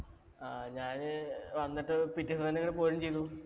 ഞാന് വന്നിട്ട് പിറ്റേന്ന് തന്നെ ഇങ്ങോട്ട് പോരിം ചെയ്തു.